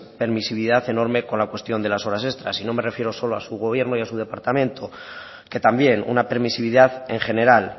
permisividad enorme con la cuestión de las horas extras y no me refiero solo a su gobierno y a su departamento que también una permisividad en general